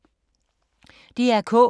DR K